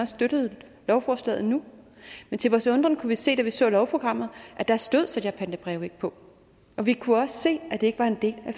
støttede lovforslaget nu men til vores undren kunne vi se da vi så lovprogrammet at der stod sælgerpantebreve ikke på og vi kunne også se at det ikke var en del af